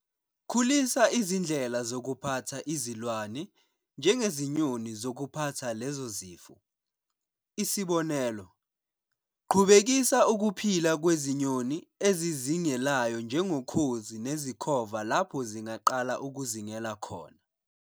Khulisa izindlela zokuphatha izilwane, njengezinyoni, zokuphatha lezo zifo. Isibonelo- Qhubekisa ukuphila kwezinyoni ezizingelayo njengokhozi nezikhova lapho zingaqala ukuzingela khona.